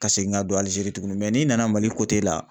Ka segin ka don Algérie tugunni n'i nana Mali la